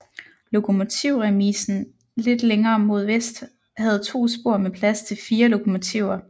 Lokomotivremisen lidt længere mod vest havde to spor med plads til 4 lokomotiver